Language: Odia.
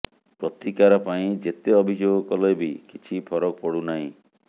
ପ୍ରତିକାର ପାଇଁ ଯେତେ ଅଭିଯୋଗ କଲେ ବି କିଛି ଫରକ ପଡ଼ୁନାହିଁ